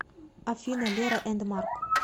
афина лера энд марк